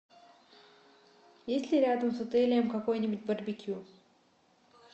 есть ли рядом с отелем какое нибудь барбекю